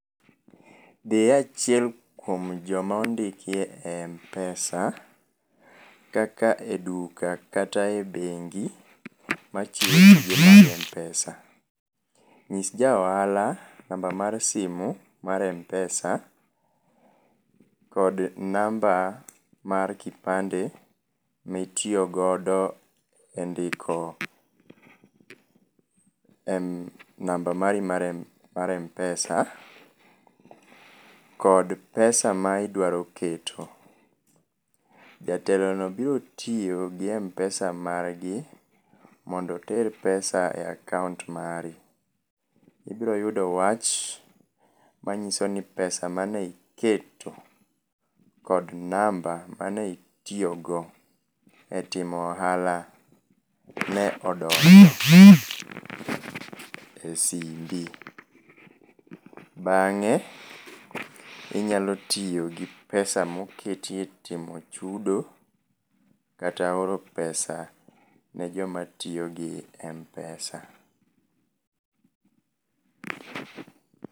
Dhiye achiel kuom joma ondikiye e Mpesa, kata e duka kata e bengi, machiwo gige mag Mpesa. Ng'is ja ohala namba mar simu mar Mpesa kod namba mar kipande mitiyogodo e ndiko em namba mari mar Mpesa kod pesa ma idwaro keto. Jatelono biro tiyo gi Mpesa margi, mondo oter pesa e akaont margi. Ibiroyudo wach manyiso ni pesa mane iketo kod namba mane itiyogo e timo ohala ne odonjo e simbi. Bang'e, inyalo tiyo gi pesa moketiye timo chudo, kata oro pesa ne joma tiyo gi Mpesa